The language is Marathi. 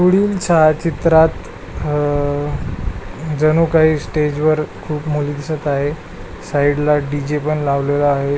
पुढील छायाचित्रात अह जणू काही स्टेजवर खुप मुली दिसत आहे साइडला डीजे पण लावलेला आहे.